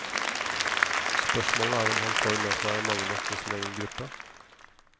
Spørsmålet er om han får med seg mange nok i sin egen gruppe.